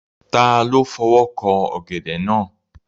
Ta ló fọwọ́ kan ọ̀gẹ̀dẹ̀ náà?